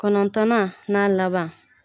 Kɔnɔntɔnnan n'a laban.